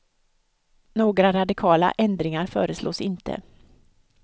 Några radikala ändringar föreslås inte.